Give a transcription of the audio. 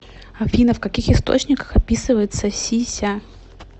афина в каких источниках описывается си ся